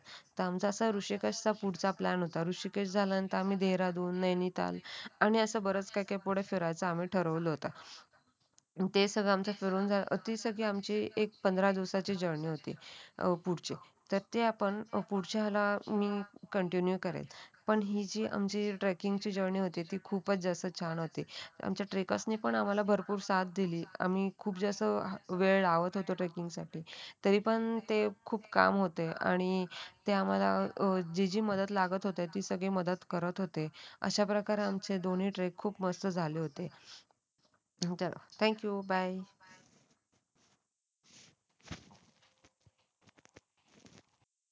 तरी पण ते खूप काम होते आणि ते आम्हाला जी जी मदत लागत होती ते सगळे मदत करत होते. अशाप्रकारे आमचे दोन्ही ट्रेक खूप मस्त झाले होते थँक्यू बाय